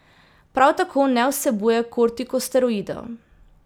Prav tako ne vsebuje kortikosteroidov.